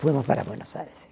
Fomos para Buenos Aires, sim.